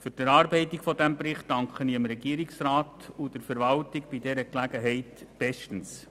Bei dieser Gelegenheit danke ich dem Regierungsrat und der Verwaltung bestens für die Erarbeitung dieses Berichts.